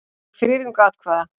Hún fékk þriðjung atkvæða.